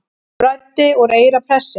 Blæddi úr eyra prestsins